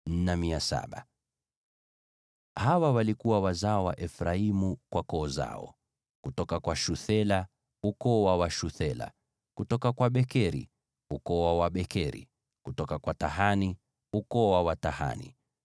Hawa walikuwa wazao wa Efraimu kwa koo zao: kutoka kwa Shuthela, ukoo wa Washuthela; kutoka kwa Bekeri, ukoo wa Wabekeri; kutoka kwa Tahani, ukoo wa Watahani;